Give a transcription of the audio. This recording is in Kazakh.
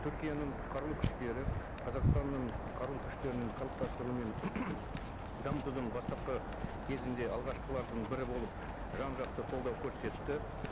түркияның қарулы күштері қазақстанның қарулы күштерінің қалыптастыруы мен дамытудың бастапқы кезінде алғашқылардың бірі болып жан жақты қолдау көрсетті